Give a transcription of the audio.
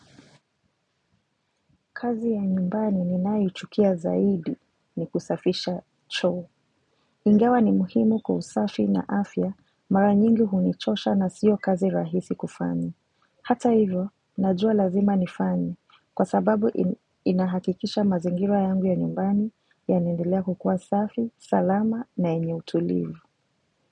Kazi ya nyumbani ninaiuchukia zaidi ni kusafisha cho. Ingawa ni muhimu kwa usafi na afya mara nyingi hunichosha na sio kazi rahisi kufanya. Hata hivyo, najua lazima nifanye kwa sababu inahakikisha mazingira yangu ya nyumbani yanaendelea kukua safi, salama na yenye utulivu.